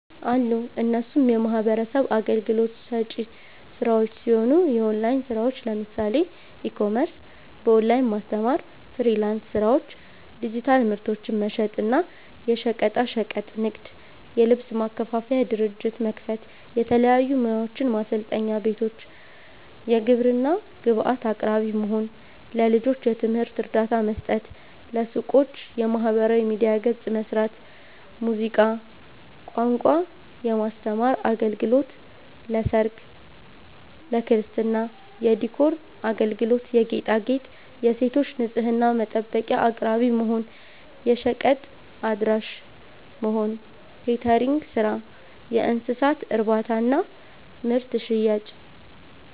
አሉ እነሱም የሚህበረሰብ አገልግሎት ሰጪ ስራዎች ሲሆኑ፦ የኦላይን ስራዎች ለምሳሌ፦ ኢ-ኮሜርስ፣ በኦላይን ማስተማር፣ ፍሊራንስ ስራዎች፣ ዲጂታል ምርቶችን መሸጥ እና፣ የሸቀጣሸቀጥ ንግድ, የልብስ ማከፋፈያ ድርጅት መክፈት፣ የተለያዩ ሙያዎችን ማሰልጠኛ ቤቶች፣ የግብርና ግብአት አቅራቢ መሆን፣ ለልጆች የትምህርት እርዳታ መስጠት፣ ለሱቆች የማህበራዊ ሚዲያ ገፅ መስራት፣ ሙዚቃ፣ ቋንቋ የማስተማር አገልግሎት ለሰርግ፣ ለክርስትና የዲኮር አገልግሎት የጌጣጌጥ, የሴቶች ንፅህና መጠበቂያ አቅራቢ መሆን፣ የሸቀጥ አድራሺ(ደሊቨሪ)መሆን፣ የኬተሪንግ ስራ፣ የእንስሳት እርባታና ምርት ሽያጭ